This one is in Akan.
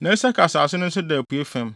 na Isakar asase no nso da apuei fam.